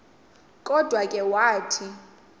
kodwa ke wathi